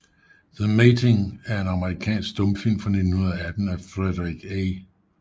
The Mating er en amerikansk stumfilm fra 1918 af Frederick A